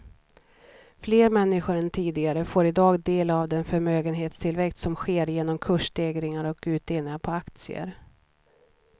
Fler människor än tidigare får i dag del av den förmögenhetstillväxt som sker genom kursstegringar och utdelningar på aktier.